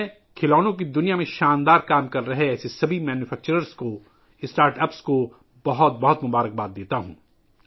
میں startups کو مبارکباد دینا چاہوں گا، ایسے تمام مینوفیکچررز ، جو کھلونوں کی دنیا میں شاندار کام کر رہے ہیں